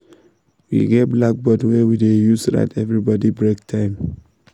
we get blackboard wey we dey use write everybody break time